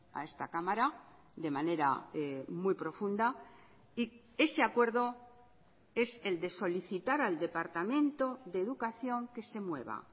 a esta cámara de manera muy profunda y ese acuerdo es el de solicitar al departamento de educación que se mueva